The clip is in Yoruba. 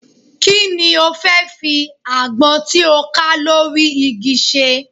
Kí ni o fẹ́ fi àgbọn tí ó ká lórí igi ṣe?